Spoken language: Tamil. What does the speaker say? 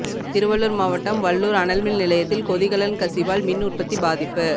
திருவள்ளூர் மாவட்டம் வல்லூர் அனல்மின் நிலையத்தில் கொதிக்கலன் கசிவால் மின் உற்பத்தி பாதிப்பு